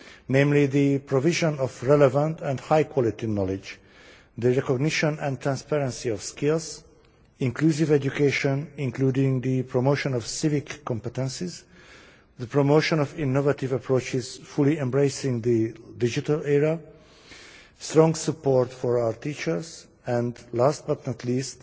namely the provision of relevant and high quality knowledge, the recognition and transparency of skills, inclusive education including the promotion of civic competences, the promotion of innovative approaches fully embracing the digital era, strong support for our teachers and, last but not least,